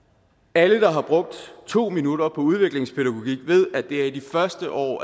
alle der har brugt to minutter på udviklingspædagogik ved at det er i de første år